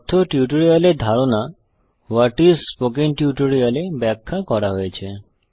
কথ্য টিউটোরিয়াল এর ধারণা ভাট আইএস স্পোকেন টিউটোরিয়াল -এ ব্যাখ্যা করা হয়েছে